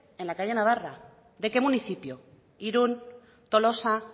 en la calle navarra de qué municipio irun tolosa